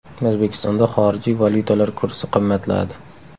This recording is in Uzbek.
O‘zbekistonda xorijiy valyutalar kursi qimmatladi.